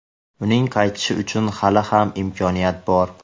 uning qaytishi uchun hali ham imkoniyat bor.